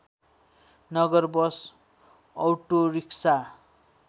Nagar bus autorickshaw